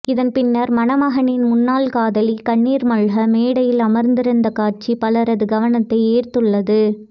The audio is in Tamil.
இதன் பின்னர் மணமகனின் முன்னாள் காதலி கண்ணீர் மல்க மேடையில் அமர்ந்திருந்த காட்சி பலரதும் கவனத்தை ஈர்த்துள்ளது